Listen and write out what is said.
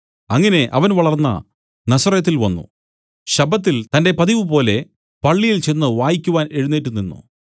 അങ്ങനെ അവൻ വളർന്ന നസറെത്തിൽ വന്നു ശബ്ബത്തിൽ തന്റെ പതിവുപോലെ പള്ളിയിൽ ചെന്ന് വായിക്കുവാൻ എഴുന്നേറ്റുനിന്നു